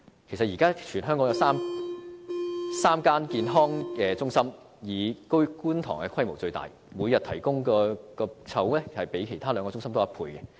其實，現時全港有3間社區健康中心，當中以觀塘的規模最大，每天提供門診的籌額較其他兩個中心多1倍。